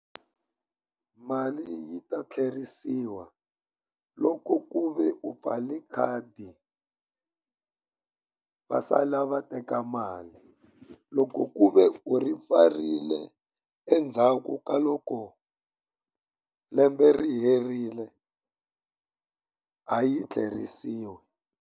Mali yi ta tlherisiwa loko ku ve u pfale khadi va sala va teka mali. Loko ku ve u ri pfarile endzhaku ka loko lembe ri herile, a yi tlerisiwi.